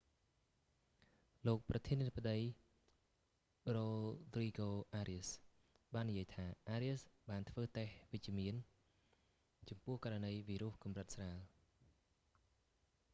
លោកប្រធានាធិបតី រ៉ូទ្រីហ្គោ អារៀស rodrigo arias បាននិយាយថា អារៀស arias បានធ្វើតេស្តវិជ្ជមានចំពោះករណីវីរុសកម្រិតស្រាល